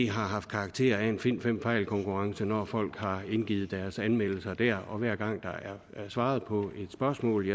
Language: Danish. har haft karakter af en find fem fejl konkurrence når folk har indgivet deres anmeldelser der og hver gang der er svaret på et spørgsmål